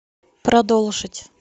продолжить